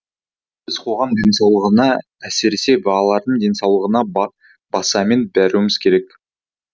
біз қоғам денсаулығына әсіресе балалардың денсаулығына баса мән беруіміз керек